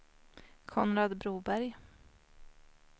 Konrad Broberg